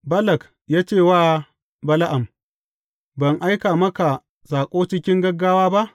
Balak ya ce wa Bala’am, Ban aika maka saƙo cikin gagawa ba?